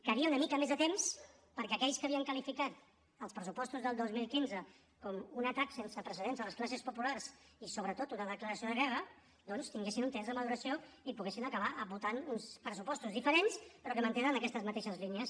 calia una mica més de temps perquè aquells que havien qualificat els pressupostos del dos mil quinze com un atac sense precedents a les classes populars i sobretot una declaració de guerra doncs tinguessin un temps de maduració i poguessin acabar votant uns pressupostos diferents però que mantenen aquestes mateixes línies